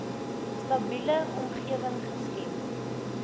stabiele omgewing geskep